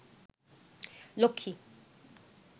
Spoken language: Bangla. লক্ষ্মী